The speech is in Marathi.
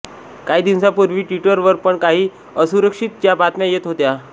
काही दिवसांपूर्वी ट्विटर वर पण काही असुरक्षितता च्या बातम्या येत होत्या